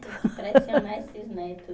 Tem que pressionar esses neto